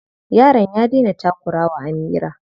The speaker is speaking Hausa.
Yaron ya daina takura wa Amira.